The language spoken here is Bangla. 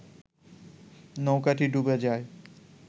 নৌকাটি ডুবে যায়